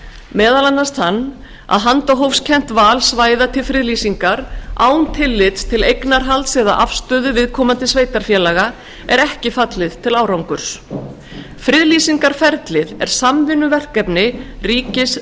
meðal annars þann að handahófskennt val svæða til friðlýsingar án tillits til eignarhalds eða afstöðu viðkomandi sveitarfélaga er ekki fallið til árangurs friðlýsingarferlið er samvinnuverkefni ríkis